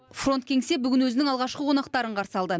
фронт кеңсе бүгін өзінің алғашқы қонақтарын қарсы алды